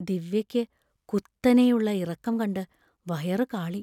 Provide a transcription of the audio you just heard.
ദിവ്യക്ക് കുത്തനെയുള്ള ഇറക്കം കണ്ട് വയറു കാളി.